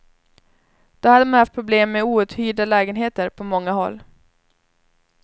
Då hade man haft problem med outhyrda lägenheter på många håll.